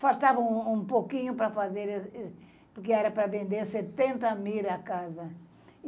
Faltava um pouquinho para fazer, porque era para vender setenta mil a casa.